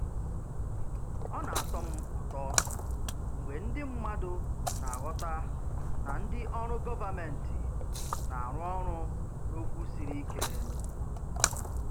Ọ na-atọ m ụtọ mgbe ndị mmadụ na-aghọta na ndị ọrụ gọvanmentị na-arụ ọrụ n’okwu siri ike.